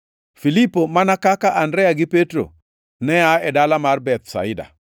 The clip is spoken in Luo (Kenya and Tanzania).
Filipo, mana kaka Andrea gi Petro, ne aa e dala mar Bethsaida.